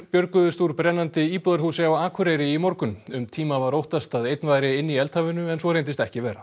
björguðust úr brennandi íbúðarhúsi á Akureyri í morgun um tíma var óttast að einn væri inni í eldhafinu en svo reyndist ekki vera